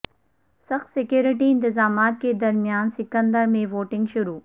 سخت سیکورٹی انتظامات کے درمیان سکندرا میں ووٹنگ شروع